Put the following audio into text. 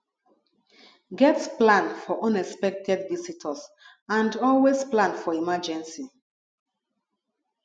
get plan for unexpected visitors and always plan for emergency